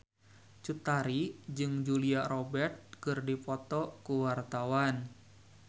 Cut Tari jeung Julia Robert keur dipoto ku wartawan